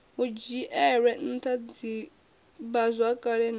hu dzhielwe ntha divhazwakale na